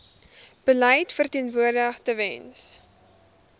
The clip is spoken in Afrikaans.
beleid verteenwoordig tewens